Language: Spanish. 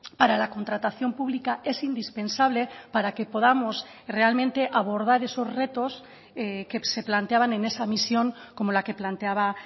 para la contratación pública es indispensable para que podamos realmente abordar esos retos que se planteaban en esa misión como la que planteaba